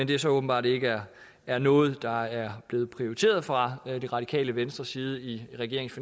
det så åbenbart ikke er er noget der er blevet prioriteret fra det radikale venstres side i regeringens